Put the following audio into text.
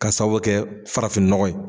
Ka sababu bɛ kɛ farafinnɔgɔ ye.